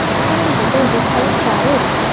பின்னாடி வந்து ஒரு ரெட் கலர் சேர்ரு இருக்கு.